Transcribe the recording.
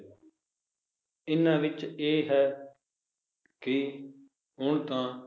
ਇਨ੍ਹਾਂ ਵਿਚ ਇਹ ਹੈ ਕਿ ਹੁਣ ਤਾਂ